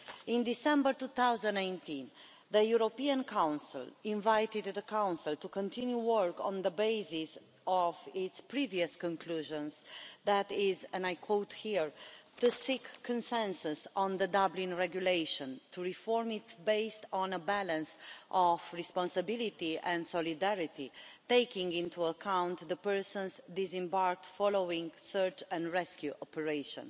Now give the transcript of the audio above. In December 2018, the European Council invited the Council to continue work on the basis of its previous conclusions, that is and I quote here, to seek consensus on the Dublin regulation, to reform it based on a balance of responsibility and solidarity, taking into account the persons disembarked following search and rescue operation'.